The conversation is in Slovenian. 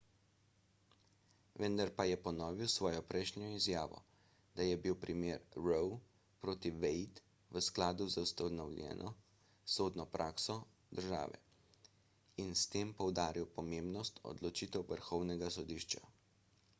vendar pa je ponovil svojo prejšnjo izjavo da je bil primer roe proti wade v skladu z ustaljeno sodno prakso države in s tem poudaril pomembnost odločitev vrhovnega sodišča